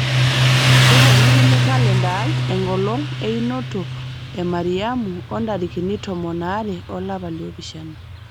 keponikini kalenda aai enkolong einoto e mariamu o ntarikini tomon aare olapa li opishana